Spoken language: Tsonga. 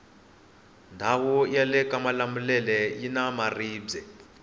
ndawu yalekamalamulele yina maribwe